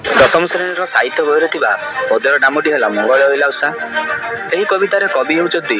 ଦଶ ଶ୍ରେଣୀର ସାହିତ୍ୟ ବହିରେ ଥିବା ପଦ୍ୟରେ ନାମଟି ହେଲା ମଙ୍ଗଳେ ଅଇଲା ଉଷା ଏହି କବିତାର କବି ହେଉଚନ୍ତି।